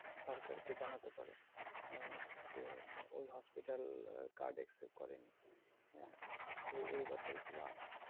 সরকার কে জানাতে পারো আহ যে ওই hospital card accept করে নি। হম এই এই ব্যাপারগুলো আছে।